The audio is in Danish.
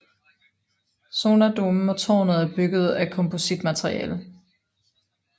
Sonardomen og tårnet er bygget af kompositmateriale